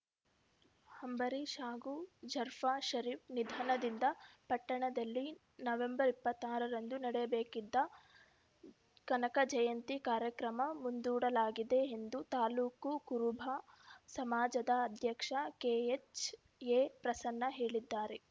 ಅಂಬರೀಶ್‌ ಹಾಗೂ ಜರ್ಫಾ ಶರೀಫ್‌ ನಿಧನದಿಂದ ಪಟ್ಟಣದಲ್ಲಿ ನವೆಂಬರ್ ಇಪ್ಪತ್ತಾರರಂದು ನಡೆಯಬೇಕಿದ್ದ ಕನಕ ಜಯಂತಿ ಕಾರ್ಯಕ್ರಮ ಮುಂದೂಡಲಾಗಿದೆ ಎಂದು ತಾಲೂಕು ಕುರುಬ ಸಮಾಜದ ಅಧ್ಯಕ್ಷ ಕೆಎಚ್‌ಎ ಪ್ರಸನ್ನ ಹೇಳಿದ್ದಾರೆ